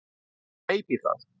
Og kleip í það.